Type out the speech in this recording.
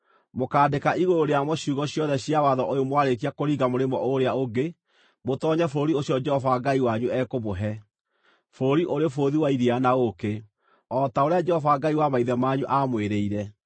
Mũkaandĩka igũrũ rĩamo ciugo ciothe cia watho ũyũ mwarĩkia kũringa mũrĩmo ũũrĩa ũngĩ mũtoonye bũrũri ũcio Jehova Ngai wanyu ekũmũhe, bũrũri ũrĩ bũthi wa iria na ũũkĩ, o ta ũrĩa Jehova Ngai wa maithe manyu aamwĩrĩire.